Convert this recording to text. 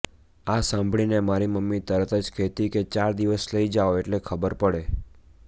આ સાંભળીને મારી મમ્મી તરત જ કહેતી કે ચાર દિવસ લઈ જાઓ એટલે ખબર પડે